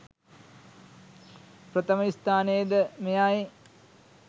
ප්‍රථම ස්ථානය ද මෙයයි.